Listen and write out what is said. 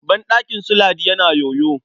Banɗakin su Ladi yana yoyo.